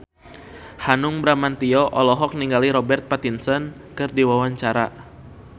Hanung Bramantyo olohok ningali Robert Pattinson keur diwawancara